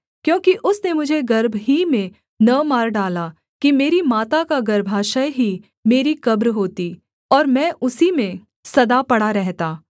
क्योंकि उसने मुझे गर्भ ही में न मार डाला कि मेरी माता का गर्भाशय ही मेरी कब्र होती और मैं उसी में सदा पड़ा रहता